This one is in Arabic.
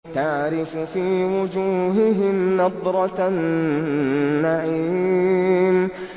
تَعْرِفُ فِي وُجُوهِهِمْ نَضْرَةَ النَّعِيمِ